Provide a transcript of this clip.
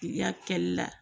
K'i y'a kɛli la